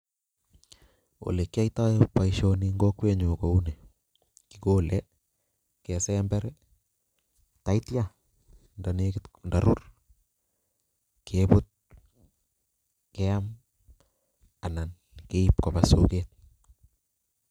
Olekiyoitoi boishoni en kokwenyun, ko kisember ak yeityo yon nekit korur kebutt ,keam ak keib koba soket